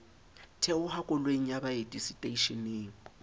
theoha koloing ya baeti seteishening